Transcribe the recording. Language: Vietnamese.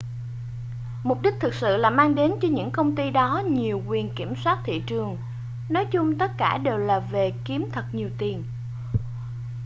mục đích thực sự là mang đến cho những công ty đó nhiều quyền kiểm soát thị trường nói chung tất cả đều là về kiếm thật nhiều tiền